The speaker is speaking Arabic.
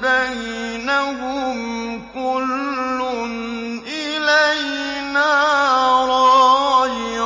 بَيْنَهُمْ ۖ كُلٌّ إِلَيْنَا رَاجِعُونَ